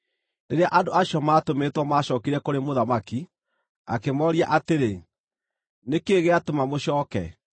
Rĩrĩa andũ acio maatũmĩtwo maacookire kũrĩ mũthamaki, akĩmooria atĩrĩ, “Nĩ kĩĩ gĩatũma mũcooke?”